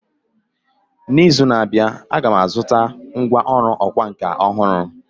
N’izu na-abịa, Aga m azụta ngwá ọrụ ọkwá nkà ọhụrụ